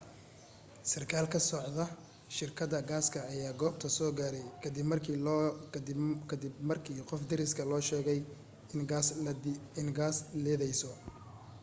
sarkaal ka socda shirkadda gaasta ayaa goobta soo gaarayay ka dib markii qof deriskaa soo sheegay in gaas liidayso